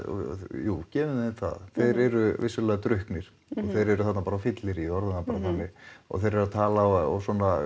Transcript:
jú gefum þeim það þeir eru vissulega drukknir þeir eru þarna bara á fylleríi orðum það bara þannig og þeir eru að tala og